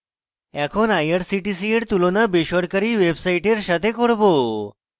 এখন irctc we তুলনা বেসরকারী ওয়েবসাইটের সাথে করব